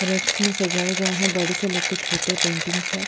रेक्श में सजाये गए है बड़े से लेके छोटे पेंटिंग्स है।